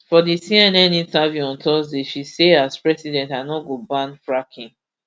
for di cnn interview on thursday she say as president i no go ban fracking